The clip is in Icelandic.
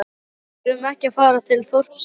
Við erum ekki að fara til þorpsins